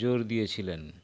জোর দিয়েছিলেন